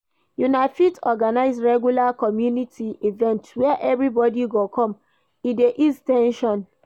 Una fit organize regular community event where everybody go come, e dey ease ten sion